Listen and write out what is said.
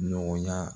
Nɔgɔya